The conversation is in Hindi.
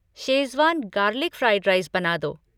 शेज़वान गार्लिक फ़्राइड राइस बना दो।